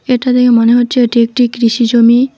এটা দেখে মনে হচ্ছে এটি একটি কৃষি জমি।